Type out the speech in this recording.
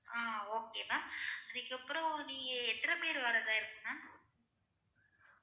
ஆஹ் okay ma'am அதுக்கு அப்புறம் நீங்க எத்தன்ன பேரு வரதா இருக்கீங்க